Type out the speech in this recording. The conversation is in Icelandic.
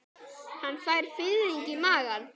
Hann fær fiðring í magann.